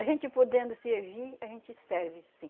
A gente podendo servir, a gente serve sim.